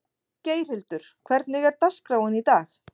Geirhildur, hvernig er dagskráin í dag?